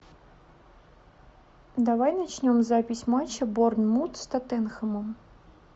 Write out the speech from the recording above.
давай начнем запись матча борнмут с тоттенхэмом